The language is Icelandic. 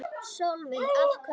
Sólveig: Af hverju?